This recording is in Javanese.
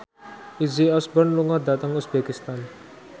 Izzy Osborne lunga dhateng uzbekistan